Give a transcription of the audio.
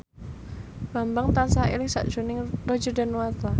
Bambang tansah eling sakjroning Roger Danuarta